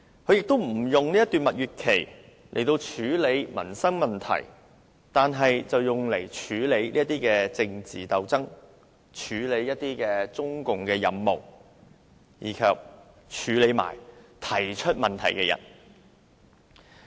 她亦無利用這段蜜月期處理民生問題，反而着手處理政治鬥爭及中共的任務，以及對付提出問題的人。